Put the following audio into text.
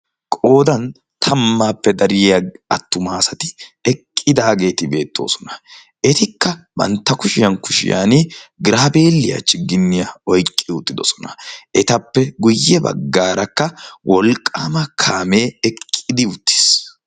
qoodan tammaappe dariya attumaasati eqqidaageeti beettoosona etikka bantta kushiyan kushiyan graabeeliyaa chigginniyaa oiqqi uttidosona etappe guyye baggaarakka wolqqaama kaamee eqqidi uttiis